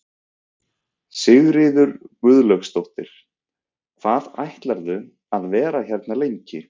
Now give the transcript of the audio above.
Sigríður Guðlaugsdóttir: Hvað ætlarðu að vera hérna lengi?